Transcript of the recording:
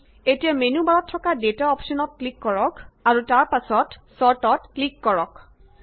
এতিয়া মেন্যু বাৰত থকা ডেটা অপশ্যনত ক্লিক কৰক আৰু তাৰ পাছত ছৰ্ট ত ক্লিক কৰক